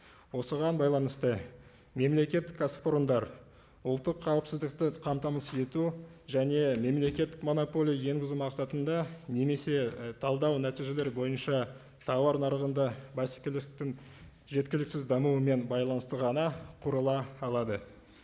осыған байланысты мемлекеттік кәсіпорындар ұлттық қауіпсіздікті қамтамасыз ету және мемлекеттік монополия енгізу мақсатында немесе і талдау нәтижелері бойынша тауар нарығында бәсекелестіктің жеткіліксіз дамуымен байланысты ғана құрыла алады